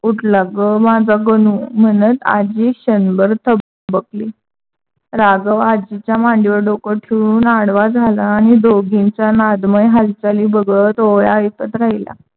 उठला ग! माझ्या गणू म्हणत आज्जी क्षणभर थबकली. राघव आज्जीच्या मांडीवर डोके ठेऊन आडवा झाला. आणि दोघींचा नादमय हालचाली बघत ओव्या ऐकत राहीला.